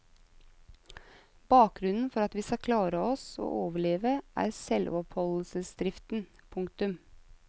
Bakgrunnen for at vi skal klare oss og overleve er selvoppholdelsesdriften. punktum